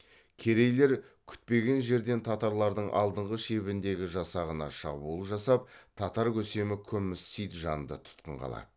керейлер күтпеген жерден татарлардың алдыңғы шебіндегі жасағына шабуыл жасап татар көсемі күміс синджанды тұтқынға алады